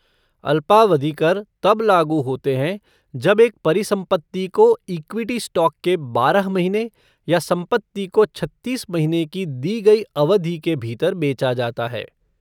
अल्पावधि कर तब लागू होते हैं जब एक परिसंपत्ति को इक्विटी स्टॉक के बारह महीने या संपत्ति को छत्तीस महीने की दी गई अवधि के भीतर बेचा जाता है।